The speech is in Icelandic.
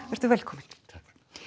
velkominn takk